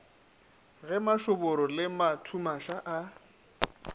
ge mašoboro le mathumaša a